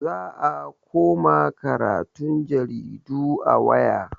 Za a koma karatun jaridu a waya.